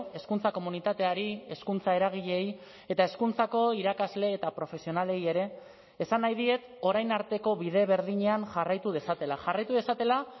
hezkuntza komunitateari hezkuntza eragileei eta hezkuntzako irakasle eta profesionalei ere esan nahi diet orain arteko bide berdinean jarraitu dezatela jarraitu dezatela